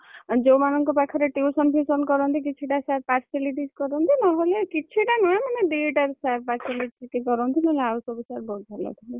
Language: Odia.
ଯୋଉମାନକଣର ପାଖରେ tuition fution କରନ୍ତି କିଛି ଟା sir partialities କରନ୍ତି ନହେଲେ କିଛିଟାନୁହେଁ ମାନେ ଦିଟା sir partialities କରନ୍ତି ନହେଲେ ଆଉ ସବୁ sir ବହୁତ ଭଲ ଥିଲେ।